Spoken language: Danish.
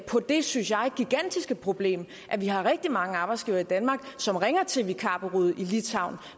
på det synes jeg gigantiske problem at vi har rigtig mange arbejdsgivere i danmark som ringer til vikarbureauet i litauen